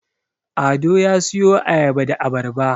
Ado ya siyo Ayaba da Abarba